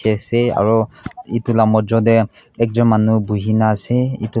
ase aru etu laga mojo te ekjon manu bohina ase etu--